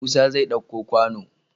Musa zai ɗauko kwano